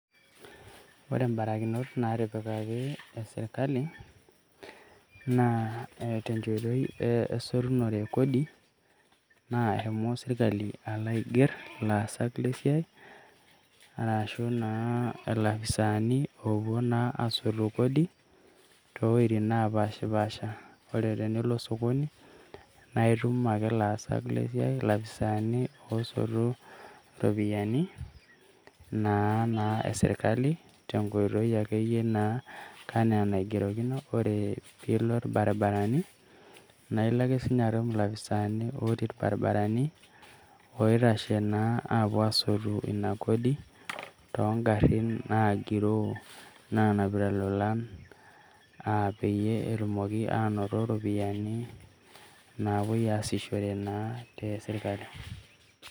Ore barakinot naatipikaki e sirkali naa te nkoitoi esolunore e kodi . Naa eshomo sirkali alo aing`err ilopisaani oopuo naa aasotu kodi too wuejitin napaashapaasha. Ore tenilo sokoni naa itum ake ilaasak le siai ilopiisani oosotu iropiyiani naa, naa e sirkali tenkoitoi akeyie naa enaa enaigerokino. Ore pee ilo ilbaribarani naa ilo ake siininye itum ilopiisani naa otii ilbaribarani oitashe naa apuo aasotu ina kodi. Too garrin nagiroo naaanapita ilolan peyie etumoki aanoto iropiyiani napuoi aasishore naa te sirkali.